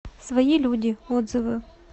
свои люди отзывы